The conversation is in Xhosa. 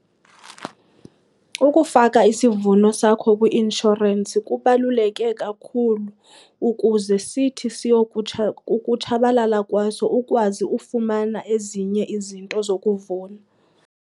Ukufaka isivuno sakho kwi-inshorensi kubaluleke kakhulu ukuze sithi siyokutsha kukutshabalala kwaso ukwazi ufumana ezinye izinto zokuvuna.